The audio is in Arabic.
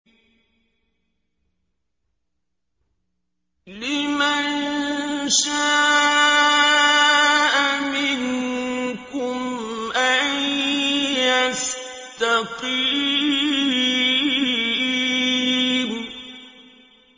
لِمَن شَاءَ مِنكُمْ أَن يَسْتَقِيمَ